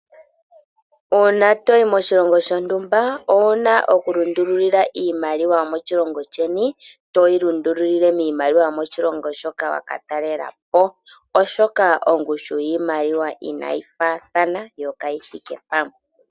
Uuna toyi moshilongo shontumba owuna oku lundulula iimaliwa yomoshilongo sheni toyi lundululile kiimaliwa yomoshilongo shoka wa ka talelapo. Oshoka ongushu yiimaliwa inayi faathana yo kayithike pamwe.